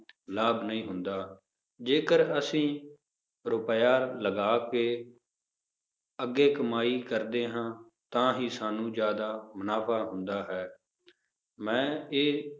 ਲਾਭ ਨਹੀਂ ਹੁੰਦਾ, ਜੇਕਰ ਅਸੀਂ ਰੁਪਇਆ ਲਗਾ ਕੇ ਅੱਗੇ ਕਮਾਈ ਕਰਦੇ ਹਾਂ ਤਾਂ ਹੀ ਸਾਨੂੰ ਜ਼ਿਆਦਾ ਮੁਨਾਫ਼ਾ ਹੁੰਦਾ ਹੈ ਮੈਂ ਇਹ